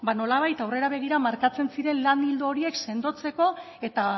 nolabait aurrera begira markatzen ziren lan ildo horiek sendotzeko eta